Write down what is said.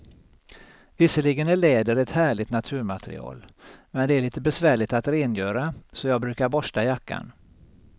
Visserligen är läder ett härligt naturmaterial, men det är lite besvärligt att rengöra, så jag brukar borsta jackan.